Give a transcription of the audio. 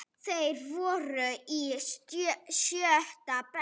Þeir voru í sjötta bekk.